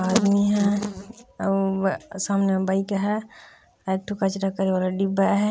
आदमी है और सामने बैग है एक ठो कचरा करे वाला डिब्बा है।